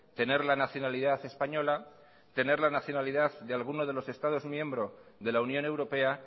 tener la nacionalidad española tener la nacionalidad de algunos de los estados miembros de la unión europea